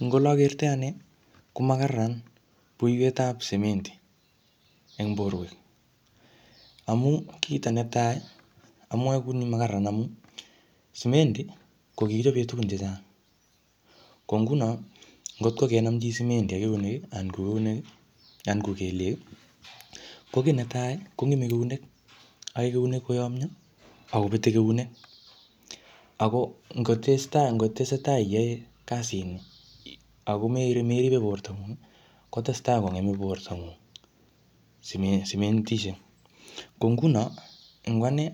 Eng ole akertoi ane, ko makararan buiwetab sementi eng borwek. Amu kito netai, amwae kuni makararan amu, sementi ko kikichope tugun chechang. Ko nguno, ngotko kenam chii sementi ak eunek, anan keunek, anan ko kelyek, ko kiy netai kongeme eunek. Ae keunek koyomyoo, akobete kenuek. Ako ngotestai, ngotesetai iyae kasit ni, ako meri-meribe borto ngung, kotesetai kongeme borto ng'ung seme-sementishek. Ko nguno, eng ane,